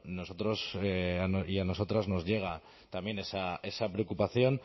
y a nosotros nos llega también esa preocupación